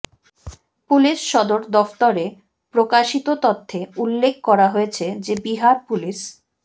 police সদর দফতরে প্রকাশিত তথ্যে উল্লেখ করা হয়েছে যে বিহার পুলিশ